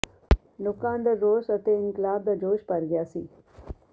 ਲੋਕਾਂ ਅੰਦਰ ਰੋਸ ਅਤੇ ਇਨਕਲਾਬ ਦਾ ਜੋਸ਼ ਭਰ ਗਿਆ ਸੀ